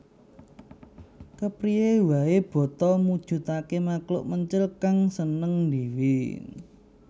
Kepriyé waé boto mujudaké makhluk mencil kang seneng ndhéwé